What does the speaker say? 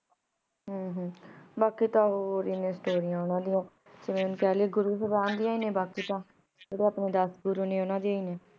ਹਨ ਹਨ ਬਾਕੀ ਤਾਂ ਹੋਰ ਏ ਨੇ ਸ੍ਟੋਰਿਯਾਂ ਵਾਲਿਯਾਂ ਕਹ ਲੋ ਗੁਰੂ ਜ਼ੁਬਾਨ ਡਿਯਨ ਈ ਨੇ ਬਾਕੀ ਤਾਂ ਜੇਰੇ ਅਪਨੇ ਦਸ ਗੁਰੂ ਨੇ ਓਨਾਂ ਡਿਯਨ ਈ ਨੇ